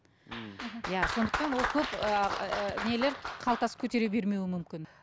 иә сондықтан ол көп ііі нелер қалтасы көтере бермеуі мүмкін